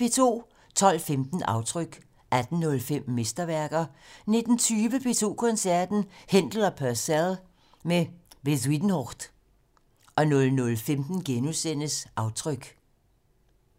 12:15: Aftryk 18:05: Mesterværker 19:20: P2 Koncerten - Händel og Purcell med Bezuidenhout 00:15: Aftryk *